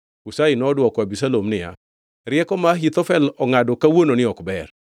Hushai nodwoko Abisalom niya, “Rieko ma Ahithofel ongʼado kawuononi ok ber.